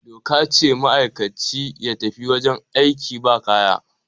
doka ce ma'aikaci ya fita wajen aiki ba kaya